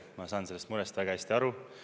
Ma saan sellest murest väga hästi aru.